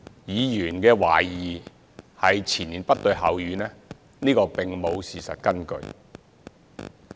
議員懷疑前言不對後語，這並無事實根據。